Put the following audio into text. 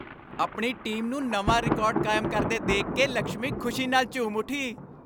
ਆਪਣੀ ਟੀਮ ਨੂੰ ਨਵਾਂ ਰਿਕਾਰਡ ਕਾਇਮ ਕਰਦੇ ਦੇਖ ਕੇ ਲਕਸ਼ਮੀ ਖੁਸ਼ੀ ਨਾਲ ਝੂਮ ਉੱਠੀ।